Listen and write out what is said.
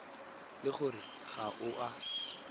le gore ga o a